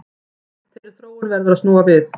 Þeirri þróun verður að snúa við